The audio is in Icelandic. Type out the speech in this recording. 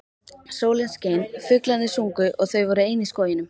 Sólin skein, fuglarnir sungu og þau voru ein í skóginum.